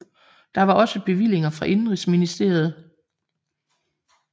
Der var også bevillinger fra indenrigsministeriet